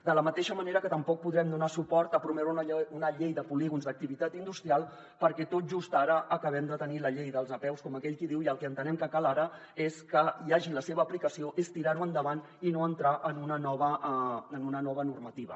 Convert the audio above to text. de la mateixa manera que tampoc podrem donar suport a promoure una llei de polígons d’activitat industrial perquè tot just ara acabem de tenir la llei de les apeus com aquell qui diu i el que entenem que cal ara és que hi hagi la seva aplicació és tirar ho endavant i no entrar en una nova normativa